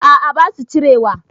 A'a basu cirewa